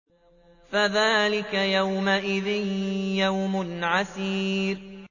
فَذَٰلِكَ يَوْمَئِذٍ يَوْمٌ عَسِيرٌ